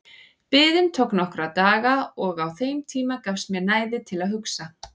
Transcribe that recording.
Biðin tók nokkra daga og á þeim tíma gafst mér næði til að hugsa.